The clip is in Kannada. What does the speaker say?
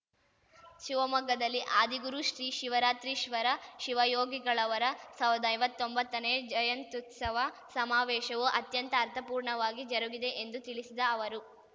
ಶಿವಮೊಗ್ಗದಲ್ಲಿ ಆದಿಗುರು ಶ್ರೀ ಶಿವರಾತ್ರೀಶ್ವರ ಶಿವಯೋಗಿಗಳವರ ಸಾವ್ರ್ದ ಐವತ್ತೊಂಬತ್ತನೇ ಜಯಂತ್ಯುತ್ಸವ ಸಮಾವೇಶವು ಅತ್ಯಂತ ಅರ್ಥಪೂರ್ಣವಾಗಿ ಜರುಗಿದೆ ಎಂದು ತಿಳಿಸಿದ ಅವರು